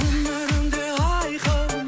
өмірім де айқын